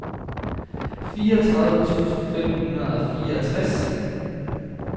fireogtredive tusind fem hundrede og fireogtres